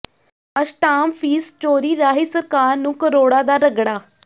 ਅਸ਼ਟਾਮ fee ਚੋਰੀ ਰਾਹੀਂ ਸਰਕਾਰ ਨੂੰ ਕਰੋੜਾਂ ਦਾ ਰਗੜਾ